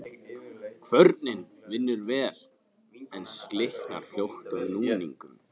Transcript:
Kvörnin vinnur vel, en slitnar fljótt af núningnum.